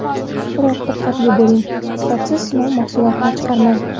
Biroq diqqatli bo‘ling: sifatsiz sinov mahsulotini chiqarmang.